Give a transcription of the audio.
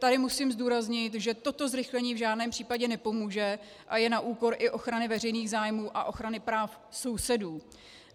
Tady musím zdůraznit, že toto zrychlení v žádném případě nepomůže a je na úkor i ochrany veřejných zájmů a ochrany práv sousedů.